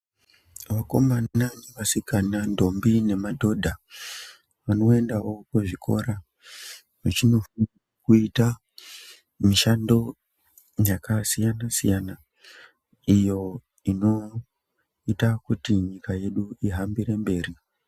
Vakomana nevasikana, ndombi nemadhodha vanoendawo kuzvikora vachinofundiswa kuite mishando yakasiyana siyana iyo inoite kuti nyika yedu ihambire mberi.